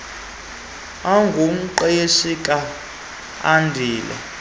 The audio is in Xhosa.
engumqeshi ka andile